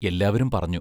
എല്ലാവരും പറഞ്ഞു.